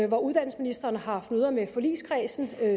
hvor uddannelsesministeren har haft møder med forligskredsen